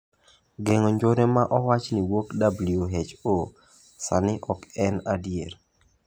Geng'o njore ma owach ni wuok WHO, sani ok en adier.